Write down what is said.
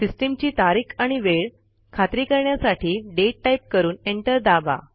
सिस्टीमची तारीख आणि वेळ खात्री करण्यासाठी दाते टाईप करून एंटर दाबा